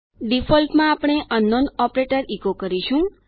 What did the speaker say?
default માં આપણે અંકનાઉન ઓપરેટર ઇકો કરીશું